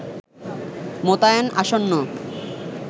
মোতায়েন আসন্ন